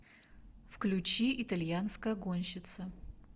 включи итальянская гонщица